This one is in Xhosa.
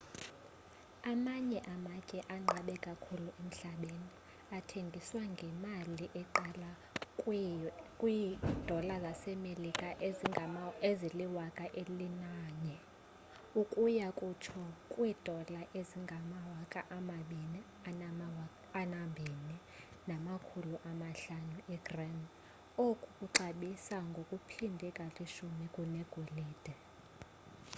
amanye amatye anqabe kakhulu emhlabeni athengiswa ngemali eqala kwi-us$11,000 ukuya kutsho kwi-$22,500 igram oku kuxabisa ngokuphindwe kalishumi kunegolide